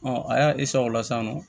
a y'a o la sisan nɔ